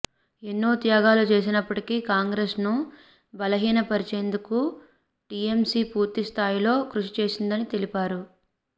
ఎన్నో త్యాగాలు చేసినప్పటికీ కాంగ్రెస్ను బలహీనపర్చేందుకు టీఎంసీ పూర్తిస్థాయిలో కృషిచేసిందని తెలిపారు